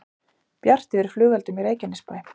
Bjart yfir flugeldum í Reykjanesbæ